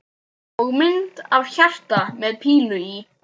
Og mynd af hjarta með pílu í.